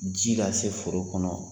Ji ka se foro kɔnɔ wa.